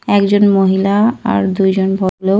একজন মহিলা আর দুজন ভদ্রলোক --